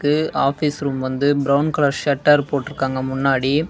இது office room வந்து brown colour shutter போட்டுருக்காங்க முன்னாடி.